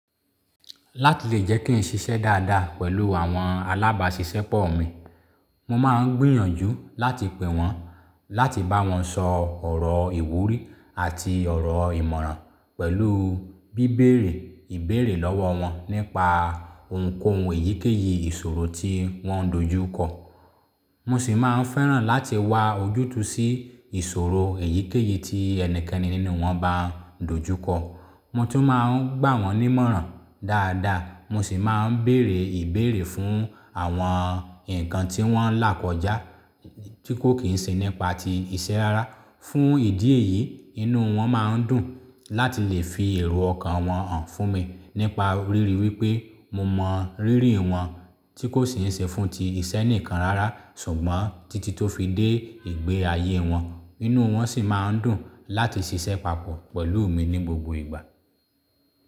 Láti lè jẹ́ kí n ṣiṣẹ́ dáadáa pẹ̀lú àwọn alábàáṣiṣẹ́ pọ mi, mo máa ń gbìyànjú láti pè wọ́n láti bá wọn sọ ọ̀rọ̀ ìwúrí àti ọ̀rọ̀ ìmọ̀ràn pẹ̀lú bíbèrè ìbéèrè lọ́wọ́ wọn nípa ohunkóhun èyíkéyìí ìṣòro tí wọ́n ń dojú kọ. Mo sì máa ń fẹ́ràn láti wá ojútùú sí ìṣòro èyíkéyìí tí ẹnikẹ́ni nínú wọn bá n dojú kọ. Mo tún máa ń gbà wọ́n nímọ̀ràn dáadáa, mo sì máa ń bèèrè ìbéèrè fún àwọn nǹkan tí wọ́n ń là kọjá tí kò kì í ṣe nípa ti ìṣe rara. Fún ìdí èyí, inú wọn máa ń dùn láti lè fi èrò ọkàn wọn hàn fún mi nípa ríri wípé mo mọ rírìn wọn tí kò sì ń ṣe fún ti ìṣe nìkan rara ṣùgbọ́n títí tó fi dé ìgbé ayé wọn. Inú wọn sì máa ń dùn láti ṣiṣẹ́ papọ̀ pẹ̀lú mi ní gbogbo ìgbà.